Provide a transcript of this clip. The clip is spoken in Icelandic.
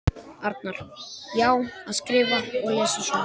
Arnar: Já, að skrifa og lesa og svona.